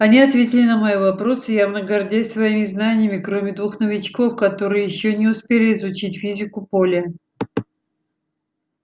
они ответили на мои вопросы явно гордясь своими знаниями кроме двух новичков которые ещё не успели изучить физику поля